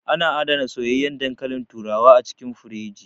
Ana adana soyayyan dankalin turawa a cikin firiji